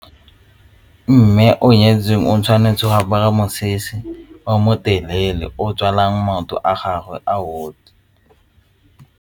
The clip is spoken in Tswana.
Mme o nyetsweng o tshwanetse go apara mosese o motelele o tswalang maoto a gagwe a otlhe.